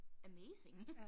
Amazing